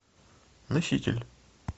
носитель